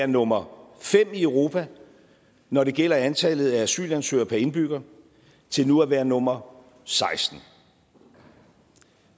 nummer fem i europa når det gælder antallet af asylansøgere per indbygger til nu at være nummer sekstende